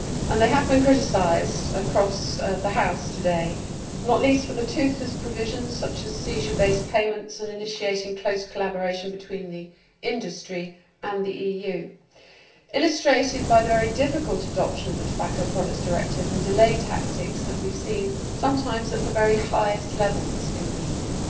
They have been criticised across the House today, not least for the toothless provisions such as seizure based payments and for initiating close collaboration between the industry and the EU illustrated by the very difficult adoption of the Tobacco Products Directive and by the delaying tactics that we have seen sometimes at the very highest levels in the EU.